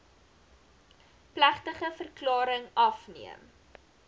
plegtige verklaring afgeneem